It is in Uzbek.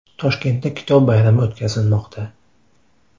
Toshkentda Kitob bayrami o‘tkazilmoqda .